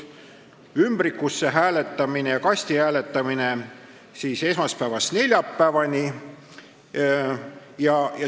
Niinimetatud ümbrikusse hääletamine ja kasti hääletamine toimuks esmaspäevast neljapäevani.